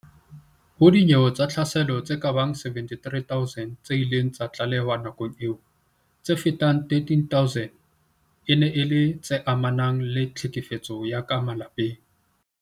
Ho dinyewe tsa tlhaselo tse kabang 73 000 tse ileng tsa tlalehwa nakong eo, tse fetang 13000 e ne e le tse amanang le tlhekefetso ya ka malapeng.